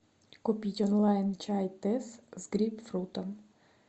купить онлайн чай тесс с грейпфрутом